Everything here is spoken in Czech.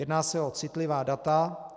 Jedná se o citlivá data.